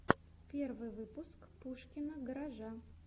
первый выпуск пушкина гаража